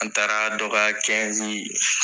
An taara dɔ ka